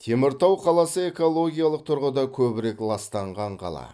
теміртау қаласы экологиялық тұрғыда көбірек ластанған қала